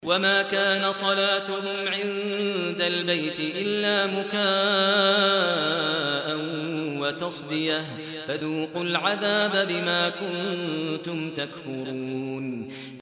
وَمَا كَانَ صَلَاتُهُمْ عِندَ الْبَيْتِ إِلَّا مُكَاءً وَتَصْدِيَةً ۚ فَذُوقُوا الْعَذَابَ بِمَا كُنتُمْ تَكْفُرُونَ